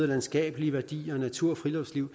landskabelige værdier og natur og friluftsliv